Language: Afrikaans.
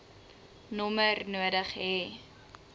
nommer nodig hê